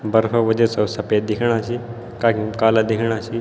बरखा वजह से वू सफ़ेद दिखेणा छी कखिम काला दिखेणा छी।